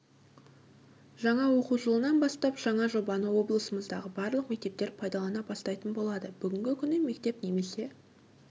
жаңа оқу жылынан бастап жаңа жобаны облысымыздағы барлық мектептер пайдалана бастайтын болады бүгінгі күні мектеп немесе